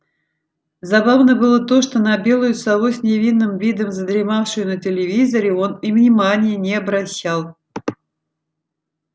забавно было то что на белую сову с невинным видом задремавшую на телевизоре он и внимания не обращал